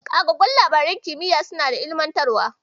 Ƙagaggun labaran kimiya suna da ilimantarwa.